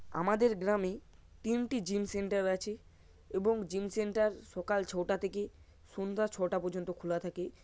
আমাদের গ্রামে তিনটি জিম সেন্টার আছে। এবং জিম সেন্টার সকাল ছটা থেকে সন্ধ্যা ছটা পর্যন্ত খোলা থাকে।